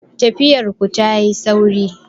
Tafiyar ku ta yi sauri